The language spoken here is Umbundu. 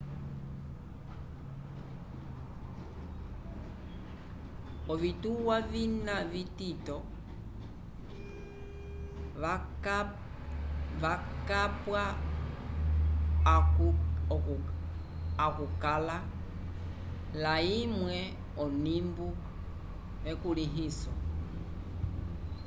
ovituwa vina vitito vakapwa akukala laymwe onimbo ekulĩhiso